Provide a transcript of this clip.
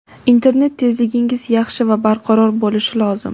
internet tezligingiz yaxshi va barqaror bo‘lishi lozim.